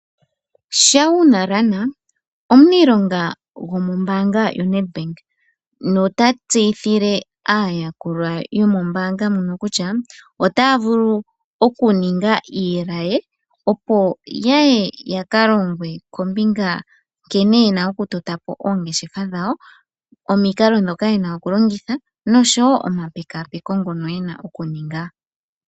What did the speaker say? Shauna Lahner omuniilonga gomombaanga yo Nedbank notatseyithile aayakulwa yomombaanga moka kutya otaya vulu okuninga iilaye opo yaye yaka longwe kombinga nkene yena okutota po oongeshefa dhawo, omikalo dhoka yena okuninga, oshowo omapekapeko ngono yeno okulongitha.